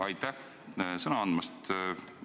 Aitäh sõna andmast!